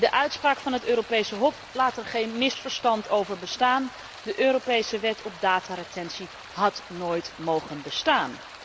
De uitspraak van het Europese Hof laat er geen misverstand over bestaan de Europese wet op dataretentie had nooit mogen bestaan.